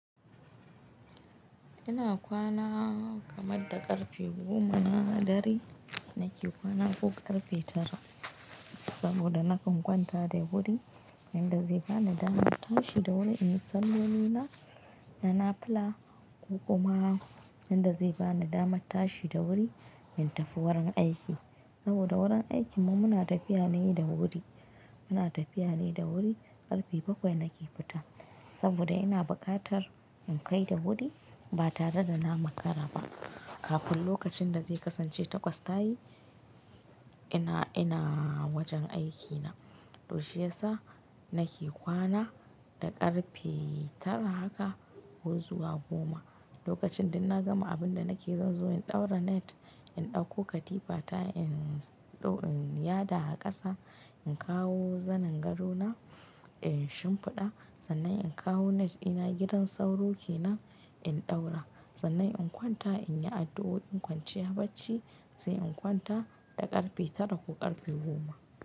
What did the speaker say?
Ina kwana kamar da ƙarfe goma na dare nake kwana ko ƙarfe tara saboda nakan kwanta da wuri, yadda zai bani damar tashi da wuri in yi salloni na, nafila kuma yadda zai bani damar tashi da wuri in tafi wurin aiki. Saboda wurin aikinmu muna tafiya ne da wuri. Muna tafiya ne da wuri, ƙarfe bakwai nake fita saboda ina bukatar in kai da wuri ba tare da na makara ba. Kafin lokacin da zai kasance takwas tayi ina, ina wajen aikina. To shiyasa nake kwana da ƙarfe tara haka ko zuwa goma. Lokacin duk na gama abin da nake zanzo in ɗaura net, in ɗauko katifa ta in, in yada a ƙasa, in kawo zanin gadona in shimfiɗa, sannan in kawo net ɗina (Gidan sauro kenan) in ɗaura sannan in kwanta in yi addu'o 'in kwanciya bacci sai in kwanta da ƙarfe tara ko ƙarfe goma.